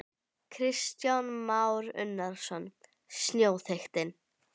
Kristján Már Unnarsson: Snjóþykktin?